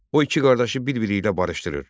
O iki qardaşı bir-biri ilə barışdırır.